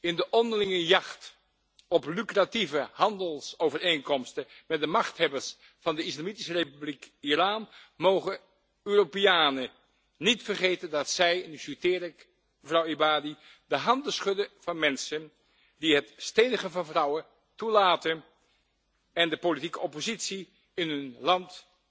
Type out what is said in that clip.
In de onderlinge jacht op lucratieve handelsovereenkomsten met de machthebbers van de Islamitische Republiek Iran mogen Europeanen niet vergeten dat zij en nu citeer ik mevrouw Ebadi de handen schudden van mensen die het stenigen van vrouwen toelaten en de politieke oppositie in hun land